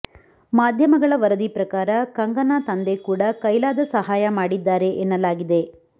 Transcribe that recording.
ಮಾಧ್ಯಮಗಳ ವರದಿ ಪ್ರಕಾರ ಕಂಗನಾ ತಂದೆ ಕೂಡ ಕೈಲಾದ ಸಹಾಯ ಮಾಡಿದ್ದಾರೆ ಎನ್ನಲಾಗಿದೆ